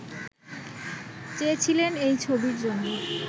চেয়েছিলেন এই ছবির জন্য